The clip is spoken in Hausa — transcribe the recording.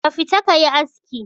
Ka tafi ka yi aski!